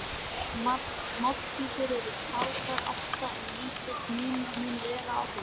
Mállýskur eru taldar átta en lítill munur mun vera á þeim.